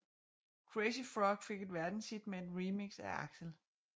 Crazy Frog fik et verdenshit med et remix af Axel F